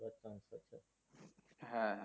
হ্যাঁ, হ্যাঁ।